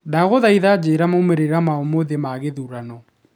ndaguthitha njira moimĩrĩra ma umuthi ma githurano